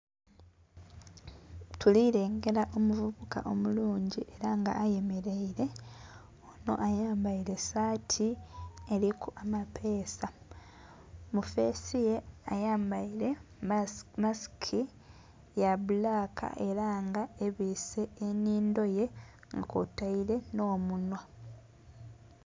Tuli lengera omuvubuka omulungi era nga ayemeleire. Ono ayambaire saati eriku amapeesa, mu fesi ye ayambaire masiki ya bbulaka era nga ebiise ennhindho ye, kwotaire n'omunhwa.